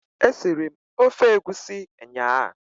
E siri m ofe egwusi nnyaa.